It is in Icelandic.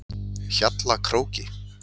Hjallakróki